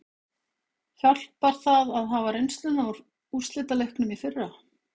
Hjálpar það að hafa reynsluna úr úrslitaleiknum í fyrra?